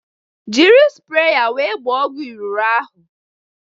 Jiri spreya wee gbaa ọgwụ iriro ahụ!